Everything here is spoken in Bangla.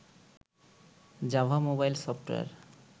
Java mobile software